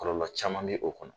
Kɔlɔlɔ caman bɛ o kɔnɔ.